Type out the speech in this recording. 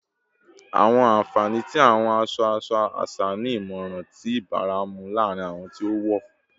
Awọn anfani ti awọn aṣọ-aṣọ aṣa ni imọran ti ibaramu laarin awọn ti o wọ